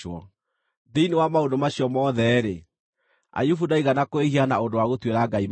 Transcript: Thĩinĩ wa maũndũ macio mothe-rĩ, Ayubu ndaigana kwĩhia na ũndũ wa gũtuĩra Ngai mahĩtia.